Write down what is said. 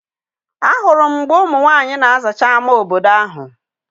A hụrụ m mgbe ụmụ nwaanyị na-azacha ama obodo ahụ.